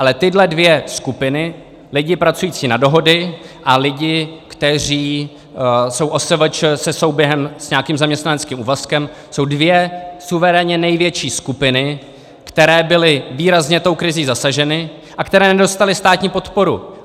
Ale tyhle dvě skupiny, lidi pracující na dohody a lidi, kteří jsou OSVČ se souběhem s nějakým zaměstnaneckým úvazkem, jsou dvě suverénně největší skupiny, které byly výrazně tou krizí zasaženy a které nedostaly státní podporu!